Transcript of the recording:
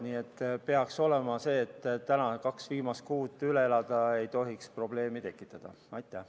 Nii et peaks saama tänavused kaks viimast kuud üle elada ja probleeme ei tohiks tekkida.